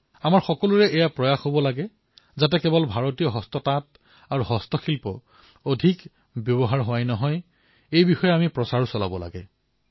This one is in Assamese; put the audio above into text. আমাৰ সকলোৰে প্ৰয়াস এয়াই হব লাগে যে কেৱল ভাৰতীয় হস্ততাঁত আৰু হস্তশিল্পৰ ব্যৱহাৰ অধিক হোৱাই নহয় বৰঞ্চ ইয়াৰ প্ৰচাৰো অধিক সংখ্যাত হব লাগে